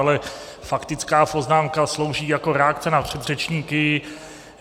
Ale faktická poznámka slouží jako reakce na předřečníky.